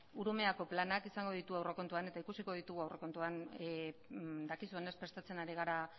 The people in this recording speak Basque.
urumeako planak izango ditugu aurrekontuan eta ikusiko ditugu aurrekontuan dakizuenez prestatzen hari gara